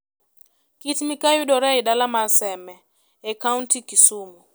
Kit-Mikayi yudore e dala mar Seme e kaunti Kisumu.